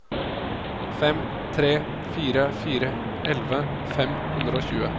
fem tre fire fire elleve fem hundre og tjue